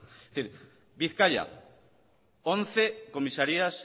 bizkaia once comisarías